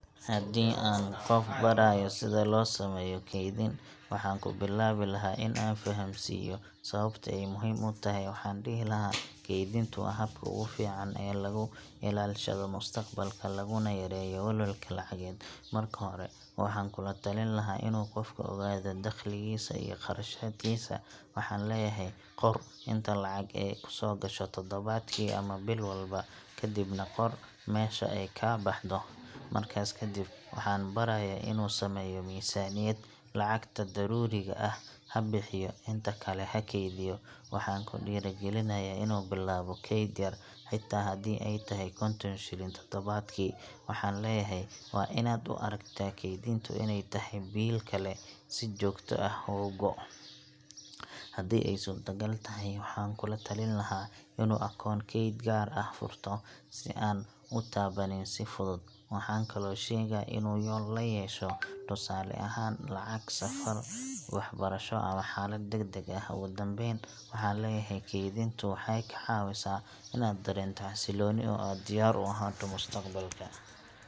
Haddii aan qof barayo sida loo sameeyo kaydin, waxaan ku bilaabi lahaa in aan fahamsiiyo sababta ay muhiim u tahay. Waxaan dhihi lahaa: Kaydintu waa habka ugu fiican ee lagu ilaashado mustaqbalka, laguna yareeyo welwelka lacageed. Marka hore, waxaan kula talin lahaa inuu qofku ogaado dakhligiisa iyo kharashaadkiisa. Waxaan leeyahay: Qor inta lacag ah ee kuu soo gasha toddobaadkii ama bil walba, kadibna qor meesha ay ka baxdo. Markaas kadib, waxaan barayaa inuu sameeyo miisaaniyad lacagta daruuriga ah ha bixiyo, inta kale ha keydiyo. Waxaan ku dhiirrigelinayaa inuu bilaabo kayd yar, xitaa haddii ay tahay 50 shilin toddobaadkii. Waxaan leeyahay: Waa in aad u aragtaa kaydintu inay tahay biil kale si joogto ah uga go’o. Haddii ay suurtagal tahay, waxaan ku talin lahaa inuu akoon kayd gaar ah furto, si aanu u taabanin si fudud. Waxaan kaloo sheegaa in yool la yeesho tusaale ahaan, lacag safar, waxbarasho ama xaalad degdeg ah. Ugu dambayn, waxaan leeyahay: Kaydintu waxay kaa caawisaa inaad dareento xasillooni, oo aad diyaar u ahaato mustaqbalka.